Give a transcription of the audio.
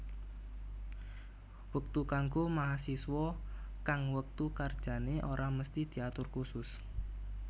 Wektu kanggo mahasiswa kang wektu kerjane ora mesthi diatur kusus